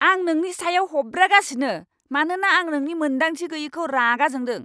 आं नोंनि सायाव हब्रागासिनो मानोना आं नोंनि मोनदांथि गैयैखौ रागा जोंदों।